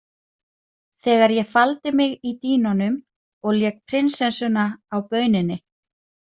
Þegar ég faldi mig í dýnunum og lék prinsessuna á bauninni.